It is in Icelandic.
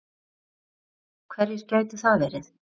Erla: Hverjir gætu það verið?